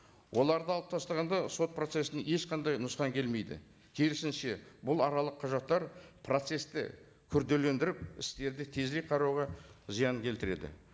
оларды алып тастағанда сот процессіне ешқандай нұсқан келмейді керісінше бұл аралық құжаттар процессті күрделендіріп істерді тезірек қарауға зияның келтіреді